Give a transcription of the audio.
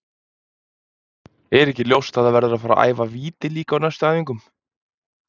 Er ekki ljóst að það verður að fara að æfa víti líka á næstu æfingum?